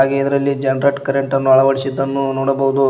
ಇದರಲ್ಲಿ ಜನರೇಟ್ ಕರೆಂಟನ್ನು ಅಳವಡಿಸಿದನ್ನು ನೋಡಬಹುದು.